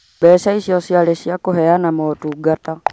Mbeca icio ciarĩ cia kũheana motungata